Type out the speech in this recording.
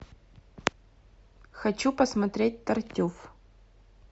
хочу посмотреть тартюф